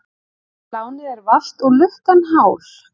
Lánið er valt og lukkan hál.